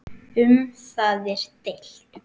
Um það er deilt.